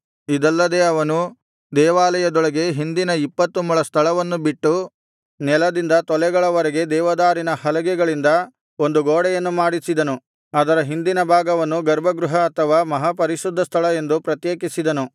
ಇದಲ್ಲದೆ ಅವನು ದೇವಾಲಯದೊಳಗೆ ಹಿಂದಿನ ಇಪ್ಪತ್ತು ಮೊಳ ಸ್ಥಳವನ್ನು ಬಿಟ್ಟು ನೆಲದಿಂದ ತೊಲೆಗಳವರೆಗೆ ದೇವದಾರಿನ ಹಲಗೆಗಳಿಂದ ಒಂದು ಗೋಡೆಯನ್ನು ಮಾಡಿಸಿದನು ಅದರ ಹಿಂದಿನ ಭಾಗವನ್ನು ಗರ್ಭಗೃಹ ಅಥವಾ ಮಹಾಪರಿಶುದ್ಧ ಸ್ಥಳ ಎಂದು ಪ್ರತ್ಯೇಕಿಸಿದನು